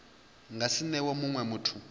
nga si newe munwe muthu